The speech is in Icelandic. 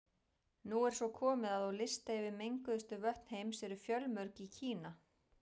Nú er svo komið að á lista yfir menguðustu vötn heims eru fjölmörg í Kína.